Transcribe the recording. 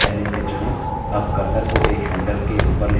अब cursor को एक handles के ऊपर ले जाएँ